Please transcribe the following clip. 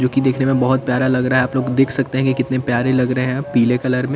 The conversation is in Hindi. जोकि देखने में बहोत प्यारा लग रहा है आप लोग देख सकते हैं कि कितने प्यारे लग रहे हैं पीले कलर में--